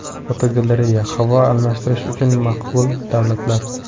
Fotogalereya: Havo almashtirish uchun maqbul davlatlar.